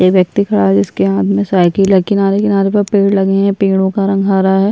एक व्यक्ति खड़ा हुआ है जिसके हाथ में साइकिल है किनारे-किनारे पर पेड़ लगे हैं पेड़ो का रंग हरा है।